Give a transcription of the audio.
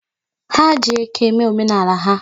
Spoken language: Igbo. Ha ji eke mee omenala ha.